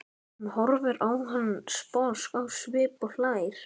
Hún horfir á hann sposk á svip og hlær.